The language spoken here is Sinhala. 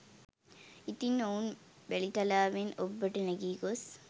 ඉතින් ඔවුන් වැලිතලාවෙන් ඔබ්බට නැඟී ගොස්